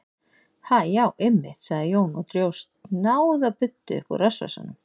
Ha, já, einmitt, sagði Jón og dró snjáða buddu upp úr rassvasanum.